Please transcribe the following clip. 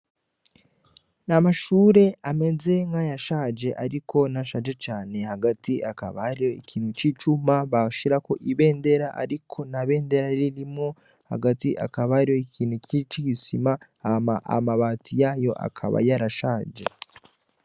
Amashure ameze nk' ayashaje ariko ntashaje cane hagati kakaba hariho ikintu c' icuma bashirako ibendera ariko nta bendera ririmwo hagati hakaba hariho ikintu c' igisima hama amabati yayo akaba yarashaje.